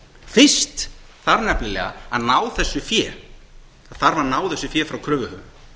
fyrst þarf nefnilega að ná þessu fé frá kröfuhöfum